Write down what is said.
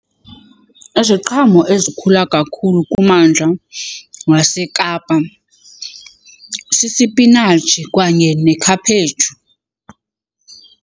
Iziqhamo ezikhula kakhulu kummandla waseKapa sisipinatshi kanye nekhaphetshu.